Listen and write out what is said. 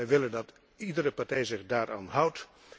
Wij willen dat iedere partij zich daaraan houdt.